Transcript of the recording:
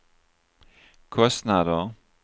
kostnader